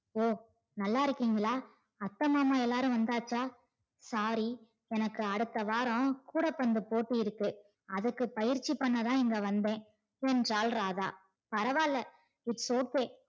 ஓ நல்லா இருக்கீங்களா அத்தை மாமா எல்லாரும் வந்தாச்சா sorry எனக்கு அடுத்த வாரம் கூடை பின்ற போட்டி இருக்கு அதுக்கு பயற்சி பண்ண தான் இங்க வந்தன் என்றாள் ராதா பரவால்ல its okay